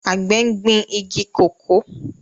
Àgbẹ̀ gbin igi kòkó